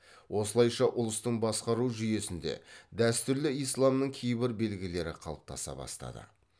осылайша ұлыстың басқару жүйесінде дәстүрлі исламның кейбір белгілері қалыптаса бастады